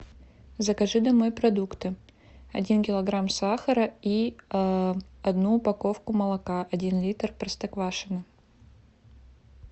закажи домой продукты один килограмм сахара и одну упаковку молока один литр простоквашино